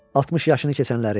60 yaşını keçənləri.